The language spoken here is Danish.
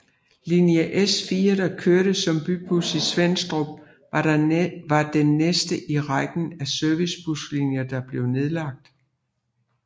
Linje S4 der kørte som Bybus i Svenstrup var den næste i rækken af servicebuslinjer der blev nedlagt